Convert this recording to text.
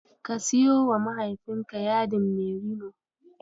Ka siyowa mahaifinka yadin merino.